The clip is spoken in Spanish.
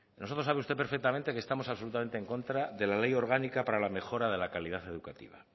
nosotros sabe usted perfectamente que estamos absolutamente en contra de la ley orgánica para la mejora de la calidad educativa